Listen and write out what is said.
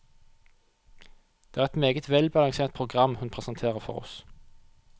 Det er et meget velbalansert program hun presenterer for oss.